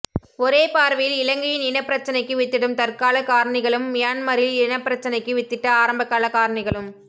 ஒரே பார்வையில் இலங்கையின் இனப் பிரச்சினைக்கு வித்திடும் தற்காலக் காரணிகளும் மியன்மாரில் இனப்பிரச்சினைக்கு வித்திட்ட ஆரம்பகால காரணிகளும்